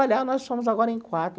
Olha, nós somos agora em quatro.